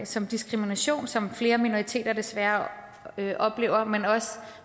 som diskrimination som flere minoriteter desværre oplever men også